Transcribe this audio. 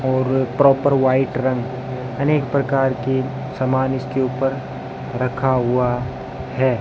और proper white रंग अनेक प्रकार के समान इसके ऊपर रखा हुआ है।